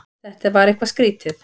Þetta var eitthvað skrýtið.